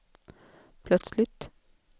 plötsligt